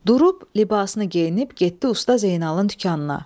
Durub libasını geyinib getdi Usta Zeynalın dükanına.